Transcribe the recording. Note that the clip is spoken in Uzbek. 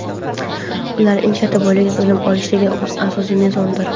ular eng katta boylik — bilim olishdagi asosiy mezondir.